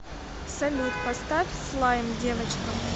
салют поставь слайм девочка